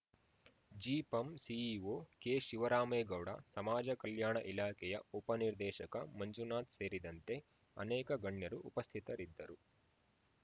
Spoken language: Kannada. ಜಿಪಂ ಸಿಇಒ ಕೆಶಿವರಾಮೇಗೌಡ ಸಮಾಜ ಕಲ್ಯಾಣ ಇಲಾಖೆಯ ಉಪನಿರ್ದೇಶಕ ಮಂಜುನಾಥ್‌ ಸೇರಿದಂತೆ ಅನೇಕ ಗಣ್ಯರು ಉಪಸ್ಥಿತರಿದ್ದರು